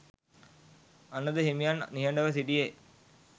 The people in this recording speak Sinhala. අනඳ හිමියන් නිහඬව සිටියේ